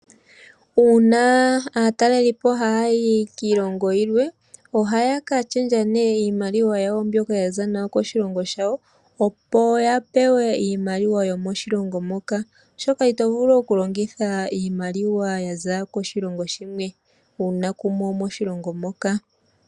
Uuna aataleli yayi kiilongo yimwe, ohaya ka shendja iimaliwa mbyoka yaza nayo koshilongo shawo opo ya pewe iimaliwa yomoshilongo moka. Oshoka ito vulu oku longitha iimaliwa yaza koshilongo shimwe uuna wuli moshilongo moka.